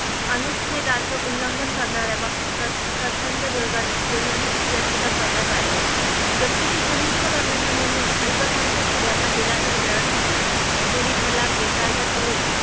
उल्लंघन करणाऱ्या पक्षाचा प्रथांच्या विरोधात जनहित याचिका करण्यात आली घटनेची समीक्षा करण्याचा निर्णय अल्पसंख्यांक स्त्रियांना दिलासा देणारा ठरला तिहेरी तलाक बेकायदा ठरून